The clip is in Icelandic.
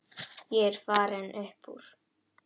Ég er farinn upp úr.